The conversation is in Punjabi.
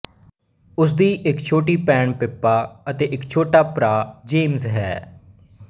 ਉਸ ਦੀ ਇੱਕ ਛੋਟੀ ਭੈਣ ਪਿੱਪਾ ਅਤੇ ਇੱਕ ਛੋਟਾ ਭਰਾ ਜੇਮਜ਼ ਹੈ